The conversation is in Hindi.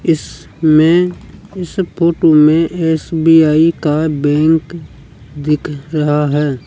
इसमें इस फोटो में एस_बी_आई का बैंक दिख रहा है।